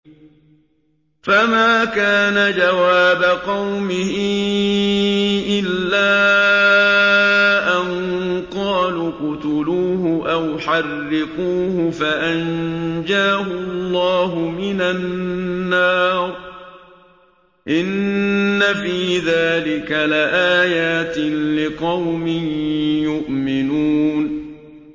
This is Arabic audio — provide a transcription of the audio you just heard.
فَمَا كَانَ جَوَابَ قَوْمِهِ إِلَّا أَن قَالُوا اقْتُلُوهُ أَوْ حَرِّقُوهُ فَأَنجَاهُ اللَّهُ مِنَ النَّارِ ۚ إِنَّ فِي ذَٰلِكَ لَآيَاتٍ لِّقَوْمٍ يُؤْمِنُونَ